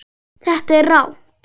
Þetta er rangt.